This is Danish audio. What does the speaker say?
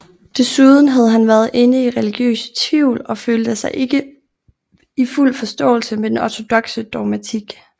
Desuden havde han været inde i religiøse tvivl og følte sig ikke i fuld forståelse med den ortodokse dogmatik